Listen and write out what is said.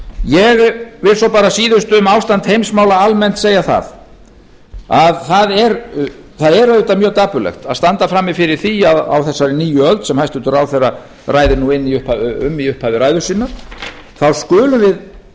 ég vil svo bara að síðustu um ástand heimsmála almennt segja að það er auðvitað mjög dapurlegt að standa frammi fyrir því á þessari nýju öld sem hæstvirtur ráðherra ræðir nú um í upphafi ræðu sinnar þá skulum við